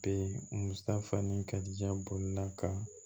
Be musa fa ni karijan bolonina ka